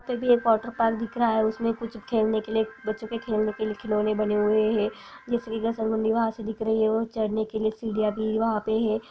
तभी एक water park दिख रहा है उसमे कुछ खेलने के लिए बच्चों के खलने के लिए खिलौने बने हुए है दिख रही है वो चढने के लिए सीडियाँ भी वहाँ पे है।